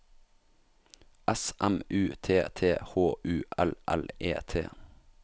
S M U T T H U L L E T